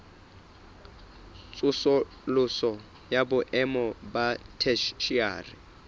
tsosoloso ya boemo ba theshiari